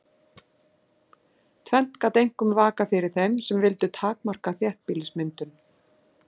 Tvennt gat einkum vakað fyrir þeim sem vildu takmarka þéttbýlismyndun.